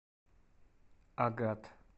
агат